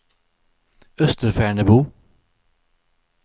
Österfärnebo